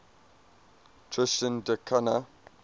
tristan da cunha